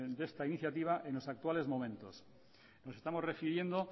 de esta iniciativa en los actuales momentos nos estamos refiriendo